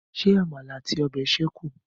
Ṣé àmàlà àti ọbẹ̀ ṣékùn?